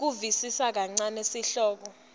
kusivisisa kancane sihloko